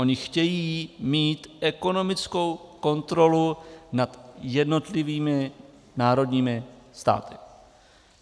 Oni chtějí mít ekonomickou kontrolu nad jednotlivými národními státy.